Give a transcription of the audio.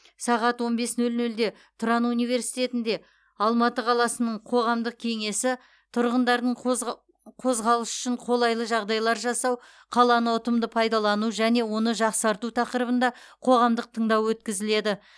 сағат он бес нөл нөлде тұран университетінде алматы қаласының қоғамдық кеңесі тұрғындардың қозғалысы үшін қолайлы жағдайлар жасау қаланы ұтымды пайдалану және оны жақсарту тақырыбында қоғамдық тыңдау өткізіледі